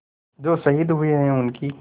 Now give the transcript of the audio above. जो शहीद हुए हैं उनकी